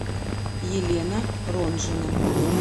елена ронжина